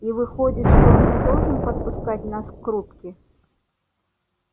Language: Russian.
и выходит что он не должен подпускать нас к рубке